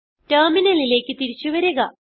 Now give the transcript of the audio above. ടെർമിനലിലേക്ക് തിരിച്ചു വരിക